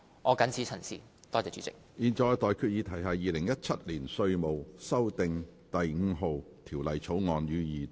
我現在向各位提出的待決議題是：《2017年稅務條例草案》，予以二讀。